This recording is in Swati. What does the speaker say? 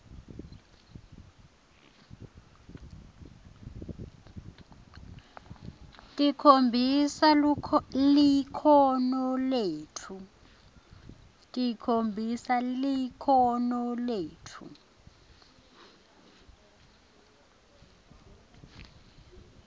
tikhombisa likhono letfu